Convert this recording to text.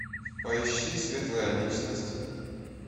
поищи светлая личность